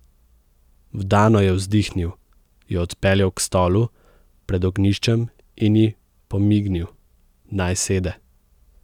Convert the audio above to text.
Vdano je vzdihnil, jo odpeljal k stolu pred ognjiščem in ji pomignil, naj sede.